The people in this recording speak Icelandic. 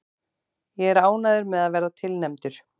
Ég er ánægður með að vera tilnefndur.